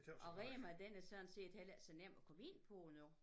Og Rema den er sådan set heller ikke så nem at komme ind på nu